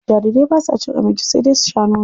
Jarirai basa cin abinci sai dai su sha nono.